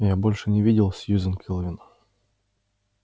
я больше не видел сьюзен кэлвин